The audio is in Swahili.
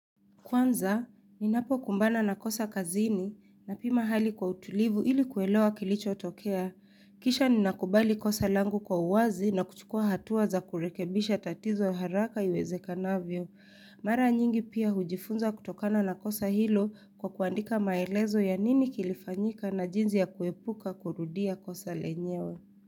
Kwanza, ninapokumbana na kosa kazini na pima hali kwa utulivu ili kuelewa kilicho tokea. Kisha ninakubali kosa langu kwa uwazi na kuchukua hatuwa za kurekebisha tatizo haraka iwezekanavyo. Mara nyingi pia hujifunza kutokana na kosa hilo kwa kuandika maelezo ya nini kilifanyika na jinsi ya kuepuka kurudia kosa lenyewe.